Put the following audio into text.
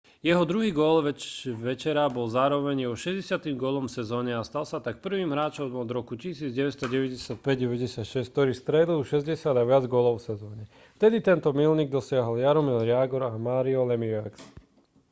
jeho druhý gól večera bol zároveň jeho 60. gólom v sezóne a stal sa tak prvým hráčom od roku 1995/96 ktorý strelil 60 a viac gólov v sezóne vtedy tento míľnik dosiahli jaromír jágr a mario lemieux